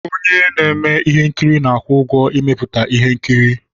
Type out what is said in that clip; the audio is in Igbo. Onye na-eme ihe nkiri na-akwụ ụgwọ ịmepụta ihe nkiri.